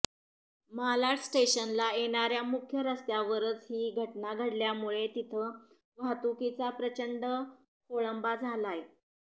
मालाड स्टेशनला येणाऱ्या मुख्य रस्त्यावरच ही घटना घडल्यामुळे तिथं वाहतुकीचा प्रचंड खोळंबा झालाय